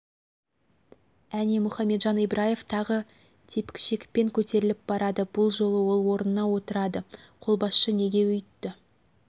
әне мұхамеджан ибраев тағы тепкішекпен көтерліп барады бұл жолы ол орнына отырады қолбасшы неге өйтті